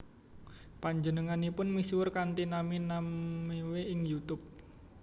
Panjenenganipun misuwur kanthi nami Namewee ing YouTube